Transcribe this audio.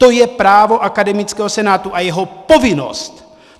To je právo akademického senátu a jeho povinnost.